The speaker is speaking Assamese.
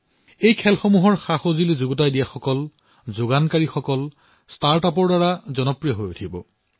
ইয়াৰ সৈতে জড়িত সামগ্ৰীসমূহৰ যোগান ধৰা ষ্টাৰ্টআপসমূহ জনপ্ৰিয় হৈ পৰিব